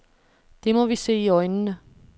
Det må vi se i øjnene.